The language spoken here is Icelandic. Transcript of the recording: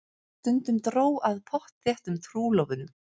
Stundum dró að pottþéttum trúlofunum.